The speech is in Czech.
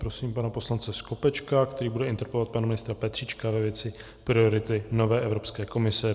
Prosím pana poslance Skopečka, který bude interpelovat pana ministra Petříčka ve věci priority nové Evropské komise.